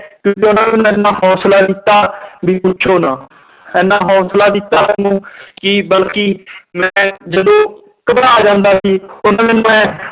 ਕਿਉਂਕਿ ਉਹਨਾਂ ਨੇ ਹੌਸਲਾ ਦਿੱਤਾ ਵੀ ਪੁੱਛੋ ਨਾ ਇੰਨਾ ਹੌਸਲਾ ਦਿੱਤਾ ਮੈਨੂੰ ਕਿ ਬਲਕਿ ਮੈਂ ਜਦੋਂ ਘਬਰਾ ਜਾਂਦਾ ਸੀ